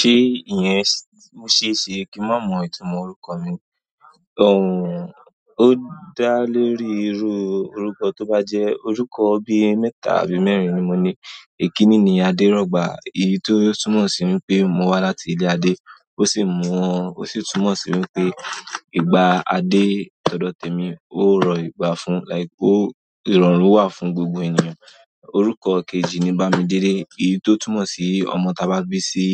Ṣé ìyẹn mo ṣe é ṣe kí n má mọ ìtumọ̀ orúkọ mi? Ooh, o dá lé rí irú orúkọ tó bá jẹ́ orúkọ bí mẹ́ta àbí mẹ́rin ni mo ní. È kíní ni Adérọ̀gbà, èyí tó túmọ̀ sí pé mo wá láti ilé Adé, ó sì mú-- ó sì túmọ̀ sí pé ìgbà Adé tọ́dọ̀ tẹ mi, ó rọ̀ ìgbà fún, like ó, ìrọ̀rùn wà fún gbogbo ènìyàn. Orúkọ kejì ni Bámidélé, èyí tó túmọ̀ sí ọmọ ta bá gbé sí